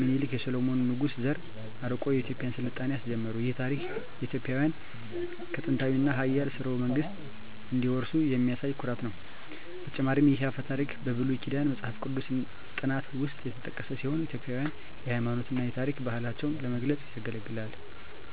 ሚኒሊክ የሰሎሞን ንጉሥ ዘር አርቆ የኢትዮጵያን ሥልጣኔ አስጀመሩ። ይህ ታሪክ ኢትዮጵያውያን ከጥንታዊ እና ኃያል ሥርወ መንግሥት እንደሚወርሱ የሚያሳይ ኩራት ነው። በተጨማሪም ይህ አፈ ታሪክ በብሉይ ኪዳን መጽሐፍ ቅዱስ ጥናት ውስጥ የተጠቀሰ ሲሆን ኢትዮጵያውያንን የሃይማኖት እና የታሪክ ባህላቸውን ለመግለጽ ያገለግላል።